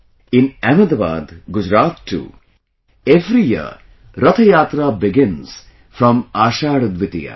In Ahmedabad, Gujrat too, every year Rath Yatra begins from Ashadh Dwitiya